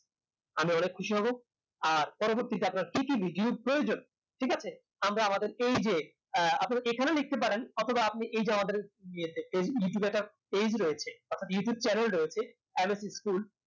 আমি অনেক খুশি হব আর পরবর্তীতে আপনার কি কি video র প্রয়োজন ঠিক আছে আমরা আপনাদের এই যে আহ আপনারা এই খানেও লিখতেও পারেন অথবা আপনি আমাদের এই যে আমাদের ইয়েতে এই youtube এ একটা page রয়েছে অর্থাৎ youtube channal রয়েছে school